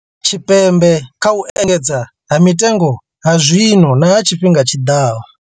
Tshipembe kha u engedzea ha mitengo ha zwino na ha tshifhiga tshi ḓaho.